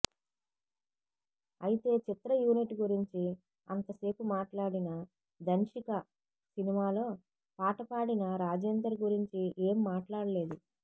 అయితే చిత్ర యూనిట్ గురించి అంత సేపు మాట్లాడిన ధన్షిక సినిమాలో పాట పాడిన రాజేందర్ గురించి ఏం మాట్లాడలేదు